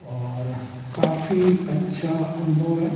और काफी अच्छा अनुभव है।